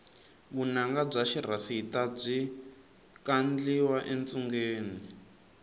vunanga bya xirhasita byi kandliwa etshungeni